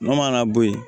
N'o mana bɔ yen